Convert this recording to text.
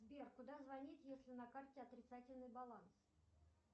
сбер куда звонить если на карте отрицательный баланс